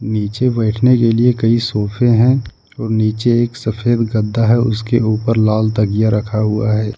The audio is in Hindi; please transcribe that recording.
नीचे बैठने के लिए कई सोफे हैं और नीचे एक सफेद गद्दा है उसके ऊपर लाल तकिया रखा हुआ है।